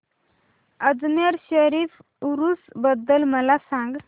अजमेर शरीफ उरूस बद्दल मला सांग